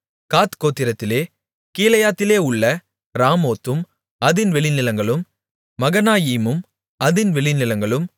காத் கோத்திரத்திலே கீலேயாத்திலே உள்ள ராமோத்தும் அதின் வெளிநிலங்களும் மகனாயீமும் அதின் வெளிநிலங்களும்